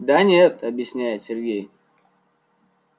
да нет объясняет сергей